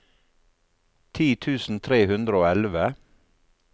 ti tusen tre hundre og elleve